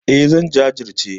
E, zan jajirce.